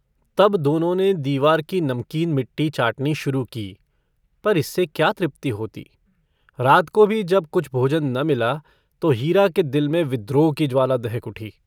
तब दोनों ने दीवार की नमकीन मिट्टी चाटनी शुरू की पर इससे क्या तृप्ति होती रात को भी जब कुछ भोजन न मिला तो हीरा के दिल में विद्रोह की ज्वाला दहक उठी।